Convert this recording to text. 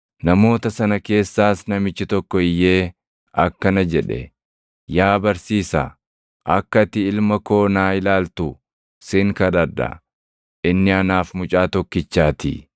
Namoota sana keessaas namichi tokko iyyee akkana jedhe; “Yaa Barsiisaa akka ati ilma koo naa ilaaltu sin kadhadha; inni anaaf mucaa tokkichaatii.